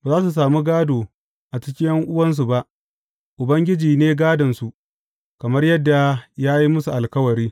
Ba za su sami gādo a cikin ’yan’uwansu ba; Ubangiji ne gādonsu, kamar yadda ya yi musu alkawari.